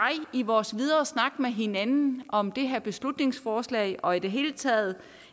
i vores videre snak med hinanden om det her beslutningsforslag og i det hele taget